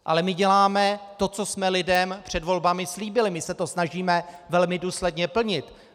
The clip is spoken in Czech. Ale my děláme to, co jsme lidem před volbami slíbili, my se to snažíme velmi důsledně plnit.